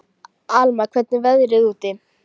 Alma, hvernig er veðrið úti?